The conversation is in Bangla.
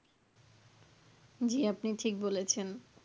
জী আপনি ঠিক বলেছেন.